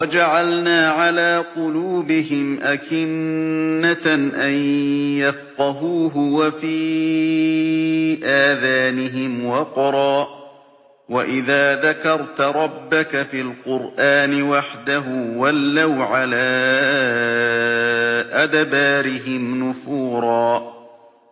وَجَعَلْنَا عَلَىٰ قُلُوبِهِمْ أَكِنَّةً أَن يَفْقَهُوهُ وَفِي آذَانِهِمْ وَقْرًا ۚ وَإِذَا ذَكَرْتَ رَبَّكَ فِي الْقُرْآنِ وَحْدَهُ وَلَّوْا عَلَىٰ أَدْبَارِهِمْ نُفُورًا